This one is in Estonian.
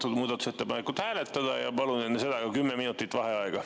Palun muudatusettepanekut hääletada ja palun enne seda ka 10 minutit vaheaega.